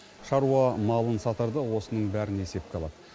шаруа малын сатарда осының бәрін есепке алады